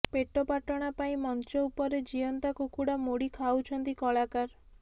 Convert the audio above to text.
ପେଟପାଟଣା ପାଇଁ ମଞ୍ଚ ଉପରେ ଜୀଅନ୍ତା କୁକୁଡ଼ା ମୋଡ଼ି ଖାଉଛନ୍ତି କଳାକାର